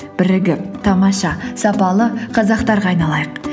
бірігіп тамаша сапалы қазақтарға айналайық